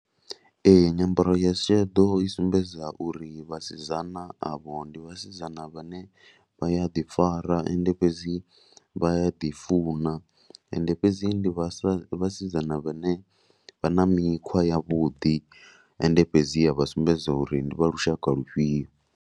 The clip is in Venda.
Ee, nyambaro ya sheḓo i sumbedza uri vhasidzana avho ndi vhasidzana vhane vha ya ḓifara and fhedzi vha ya ḓifuna. Ende fhedzi vhasa, ndi vhasidzana vhane vha na mikhwa yavhuḓi. Ende fhedzi vha sumbedza uri ndi vha lushaka lufhio.